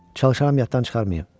Çalışaram yaddan çıxarmayım.